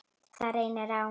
Það reynir á.